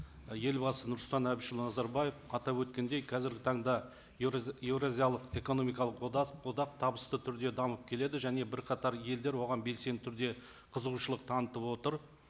елбасы нұрсұлтан әбішұлы назарбаев атап өткендей қазіргі таңда еуразиялық экономикалық одақ одақ табысты түрде дамып келеді және бірқатар елдер оған белсенді түрде қызығушылық танытып отыр